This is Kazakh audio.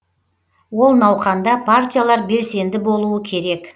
ол науқанда партиялар белсенді болуы керек